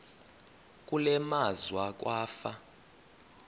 kule meazwe kwafa